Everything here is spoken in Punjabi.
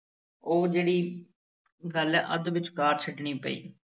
ਉਹ ਜਿਹੜੀ ਗੱਲ ਅੱਧ ਵਿਚਕਾਰ ਛੱਡਣੀ ਪਈ।